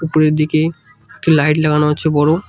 উপরের দিকে একটি লাইট লাগানো হচ্ছে বড়ো।